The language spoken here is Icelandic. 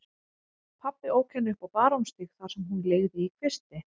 Pabbi ók henni upp á Barónsstíg þar sem hún leigði í kvisti.